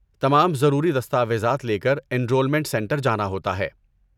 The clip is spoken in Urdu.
تمام ضروری دستاویزات لے کر انرولمنٹ سنٹر جانا ہوتا ہے۔